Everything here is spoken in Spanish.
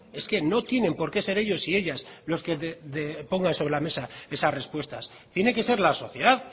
es que no tienen por qué ser ellos y ellas los que pongan sobre la mesa esas respuestas tiene que ser la sociedad